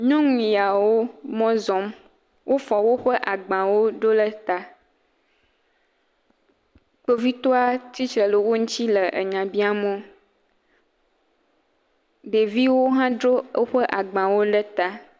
Nyɔnu yawo mɔ zɔm. Wofɔ woƒe agbawo ɖo ɖe ta. Kpovitɔa tsitre ɖe wo ŋuti le enya biam wo. Ɖeviwo hã dzro woƒe agbawo ɖe ta.